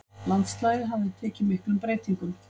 Landslagið hafði tekið miklum breytingum.